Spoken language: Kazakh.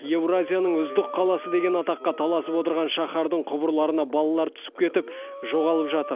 еуразияның үздік қаласы деген атаққа таласып отырған шаһардың құбырларына балалар түсіп кетіп жоғалып жатыр